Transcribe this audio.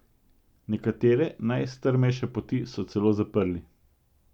Nekatere najstrmejše poti so celo zaprli.